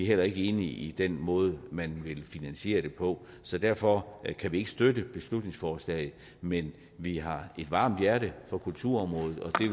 heller ikke enige i den måde man vil finansiere det på så derfor kan vi ikke støtte beslutningsforslaget men vi har et varmt hjerte for kulturområdet og